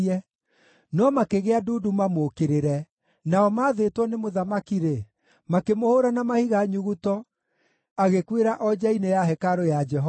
No makĩgĩa ndundu mamũũkĩrĩre, nao maathĩtwo nĩ mũthamaki-rĩ, makĩmũhũũra na mahiga nyuguto, agĩkuĩra o nja-inĩ ya hekarũ ya Jehova.